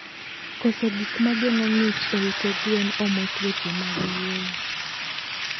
Koso gikmagengo ngich e ute gwen omo tuoche mag yweyo